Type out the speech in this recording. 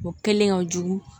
O kɛlen ka jugu